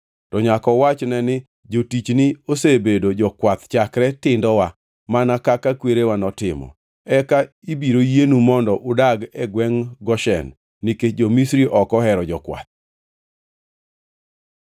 to nyaka uwachne ni, ‘Jotichgi osebedo jokwath chakre tindowa, mana kaka kwerewa notimo.’ Eka ibiro yienu mondo udag e gwengʼ Goshen, nikech jo-Misri ok ohero jokwath.”